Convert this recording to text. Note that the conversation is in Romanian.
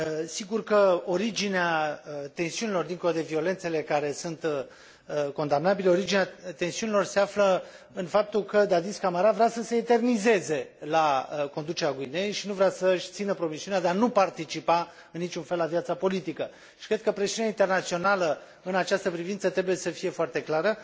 Sigur că originea tensiunilor, dincolo de violențele care sunt condamnabile, originea tensiunilor se află în faptul că Dadis Camara vrea să se eternizeze la conducerea Guineei și nu vrea să și țină promisiunea de a nu participa în niciun fel la viața politică și cred că presiunea internațională în această privință trebuie să fie foarte clară.